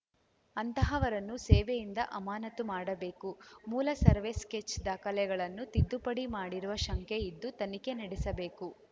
ಅಂತಹವರನ್ನು ಸೇವೆಯಿಂದ ಅಮಾನತು ಮಾಡಬೇಕು ಮೂಲ ಸರ್ವೆ ಸ್ಕೆಚ್‌ ದಾಖಲೆಗಳನ್ನು ತಿದ್ದುಪಡಿ ಮಾಡಿರುವ ಶಂಕೆ ಇದ್ದು ತನಿಖೆ ನಡೆಸಬೇಕು